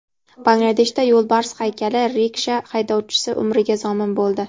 Bangladeshda yo‘lbars haykali riksha haydovchisi umriga zomin bo‘ldi.